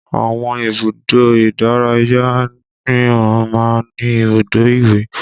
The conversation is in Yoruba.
Àwọn ibùdó ìdárayá míràn máa ń ní ibùdó ìwẹ̀